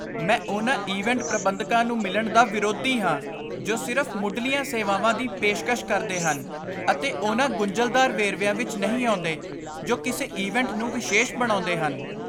ਮੈਂ ਉਹਨਾਂ ਇਵੈਂਟ ਪ੍ਰਬੰਧਕਾਂ ਨੂੰ ਮਿਲਣ ਦਾ ਵਿਰੋਧੀ ਹਾਂ ਜੋ ਸਿਰਫ਼ ਮੁਢਲੀਆਂ ਸੇਵਾਵਾਂ ਦੀ ਪੇਸ਼ਕਸ਼ ਕਰਦੇ ਹਨ ਅਤੇ ਉਹਨਾਂ ਗੁੰਝਲਦਾਰ ਵੇਰਵਿਆਂ ਵਿੱਚ ਨਹੀਂ ਆਉਂਦੇ ਜੋ ਕਿਸੇ ਇਵੈਂਟ ਨੂੰ ਵਿਸ਼ੇਸ਼ ਬਣਾਉਂਦੇ ਹਨ।